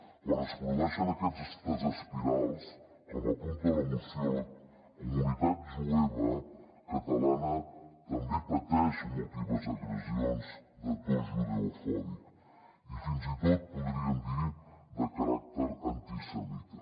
quan es produeixen aquestes espirals com apunta la moció la comunitat jueva catalana també pateix múltiples agressions de to judeofòbic i fins i tot podríem dir de caràcter antisemita